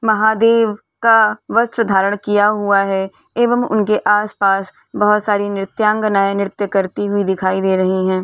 महादेव का वस्त्र धारण किया हुआ है एवं उनके आस-पास बोहोत सारी नृत्यांगनाएं नृत्य करती हुई दिखाई दे रही हैं।